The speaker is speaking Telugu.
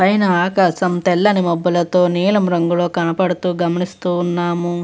పైన ఆకాశం తెల్లని మబ్బులతో నీలం రంగులో కనపడుతూ గమనిస్తూ ఉన్నాము.